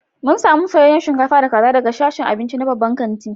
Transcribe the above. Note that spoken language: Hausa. mun samu soyayyen shinkafa da kaza daga sashen abinci na babban kanti